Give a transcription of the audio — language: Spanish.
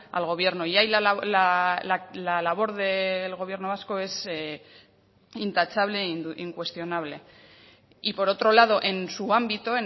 al gobierno y ahí la labor del gobierno vasco es intachable e incuestionable y por otro lado en su ámbito